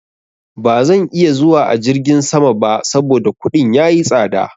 Ba zan iya zuwa a jirgin sama ba saboda kuɗin ya yi tsaɗa.